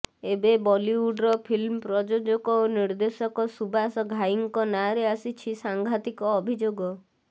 ଏବେ ବଲିଉଡ୍ର ଫିଲ୍ମ ପ୍ରଯୋଜକ ଓ ନିର୍ଦ୍ଦେଶକ ସୁବାସ ଘାଇଙ୍କ ନାଁରେ ଆସିଛି ସାଂଘାତିକ ଅଭିଯୋଗ